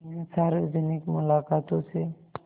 इन सार्वजनिक मुलाक़ातों से